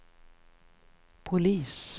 polis